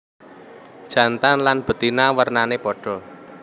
Jantan lan betina wernané padha